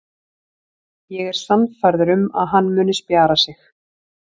Ég er sannfærður um að hann muni spjara sig.